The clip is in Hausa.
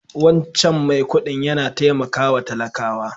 Wancan mai kuɗin yana taimakawa talakawa.